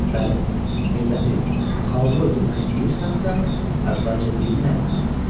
Bəli, milləti, xalqı öldürmək istəyirsənsə, əvvəlcə dilini əlindən al.